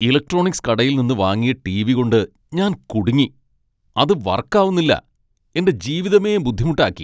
Electronics കടയിൽ നിന്ന് വാങ്ങിയ ടി.വി. കൊണ്ട് ഞാൻ കുടുങ്ങി, അത് വർക്കാവുന്നില്ല, എന്റെ ജീവിതമേ ബുദ്ധിമുട്ടാക്കി.